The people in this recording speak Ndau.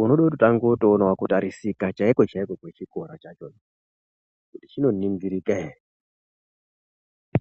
unotode kutotange kuonawo kutarisika chaiko-chaiko kwechikora chakhona kuti chinoningirika here.